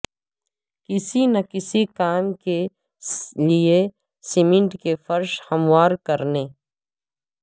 کسی نہ کسی کام کے لئے سیمنٹ کے فرش ہموار کرنے